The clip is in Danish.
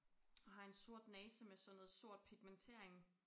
Og har en sort næse med sådan noget sort pigmentering